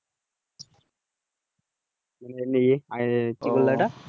মানে ইয়ে কি বলে ওটা